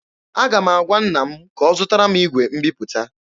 Aga m agwa nna m ka ọ zụtara m igwe mbiputa.